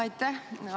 Aitäh!